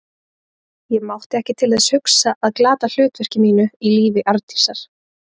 Ég mátti ekki til þess hugsa að glata hlutverki mínu í lífi Arndísar.